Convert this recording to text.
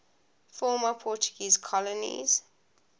former portuguese colonies